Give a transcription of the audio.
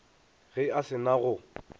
ge a se na go